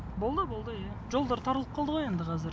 болды болды иә жолдар тарылып қалды ғой енді қазір